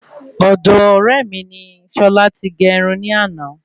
Ọ̀do ọ̀ré mi ni sola ti gé Irun ní àná